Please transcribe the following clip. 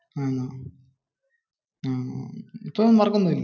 അഹ് ഉം ഇപ്പോഴും വർക്ക് ഒന്നുമില്ലേ?